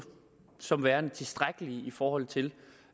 som værende tilstrækkelige i forhold til